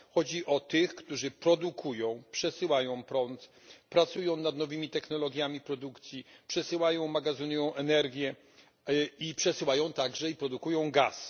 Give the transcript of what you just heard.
Chodzi o tych, którzy produkują, przesyłają prąd, pracują nad nowymi technologiami produkcji, przesyłają, magazynują energię i przesyłają także i produkują gaz.